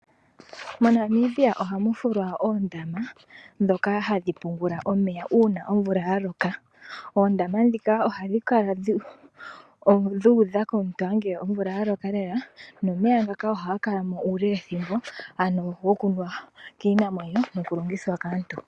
Monamibia ohamu fulwa oondama ndhoka hadhi pungula omeya uuna omvula yaloka . Oondama ndhika ohadhi kala dhu udha ngele omvula ya loka lela nomeya ngaka ohaga kalamo uule wethimbo ano gokunuwa kiinamwenyo nonoku longithwa kaantu.